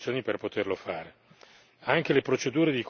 Io credo che ci siano qui le condizioni per poterlo fare.